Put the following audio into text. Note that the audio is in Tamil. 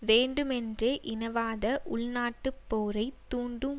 வேண்டுமென்றே இனவாத உள்நாட்டுப் போரை தூண்டும்